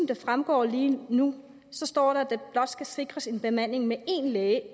det fremgår lige nu står der at der blot skal sikres en bemanding med én læge